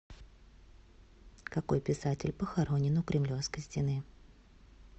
какой писатель похоронен у кремлевской стены